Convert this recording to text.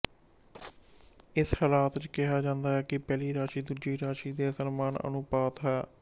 ਇਸ ਹਾਲਤ ਚ ਕਿਹਾ ਜਾਂਦਾ ਹੈ ਕਿ ਪਹਿਲੀ ਰਾਸ਼ੀ ਦੂਜੀ ਰਾਸ਼ੀ ਦੇ ਸਮਾਨ ਅਨੁਪਾਤ ਹੈ